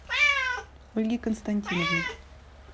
ольги константиновны